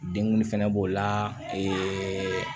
Denguli fɛnɛ b'o la